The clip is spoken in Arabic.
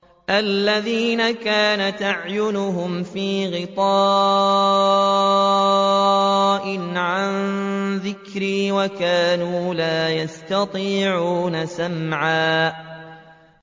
الَّذِينَ كَانَتْ أَعْيُنُهُمْ فِي غِطَاءٍ عَن ذِكْرِي وَكَانُوا لَا يَسْتَطِيعُونَ سَمْعًا